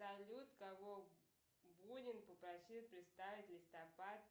салют кого бунин попросил представить листопад